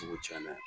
Cogo caaman